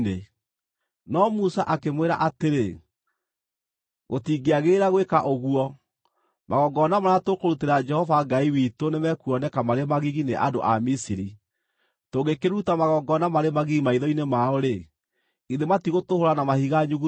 No Musa akĩmwĩra atĩrĩ, “Gũtingĩagĩrĩra gwĩka ũguo. Magongona marĩa tũkũrutĩra Jehova Ngai witũ nĩ mekuoneka marĩ magigi nĩ andũ a Misiri. Tũngĩkĩruta magongona marĩ magigi maitho-inĩ mao-rĩ, githĩ matigũtũhũũra na mahiga nyuguto?